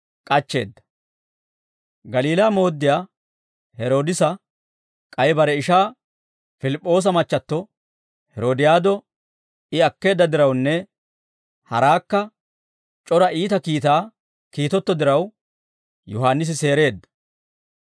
Galiilaa mooddiyaa Heroodisa k'ay bare ishaa Pilip'p'oosa machchatto Herodiyaado I akkeedda dirawunne haraakka c'ora iita kiitaa kiitetto diraw, Yohaannisi seereedda.